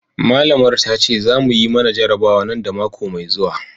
malamar ta ce za mu yi mana jarabawa nan da mako mai zuwa.